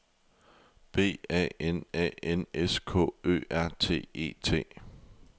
B A N A N S K Ø R T E T